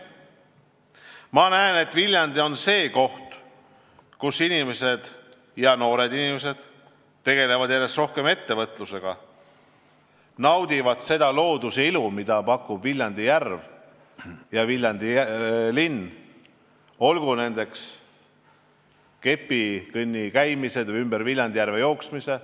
Ma näen, et Viljandi on see koht, kus inimesed – ja noored inimesed – tegelevad järjest rohkem ettevõtlusega, naudivad ilu, mida pakub Viljandi järv ja Viljandi linn, tegelevad kepikõnniga või ümber Viljandi järve jooksuga.